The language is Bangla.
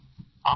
হ্যাঁ স্যার